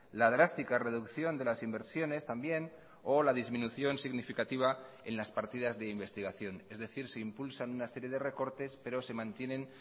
la drástica reducción de las inversiones también o la disminución significativa en las partidas de investigación es decir se impulsan una serie de recortes pero se mantienen